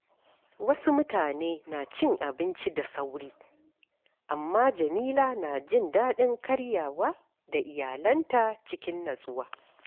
Wasu mutane na cin abinci da sauri, amma Jamila na jin daɗin karyawa da iyalanta cikin natsuwa.